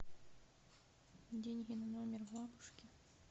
деньги на номер бабушки